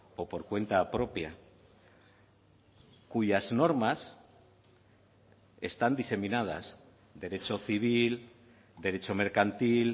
o por cuenta propia cuyas normas están diseminadas derecho civil derecho mercantil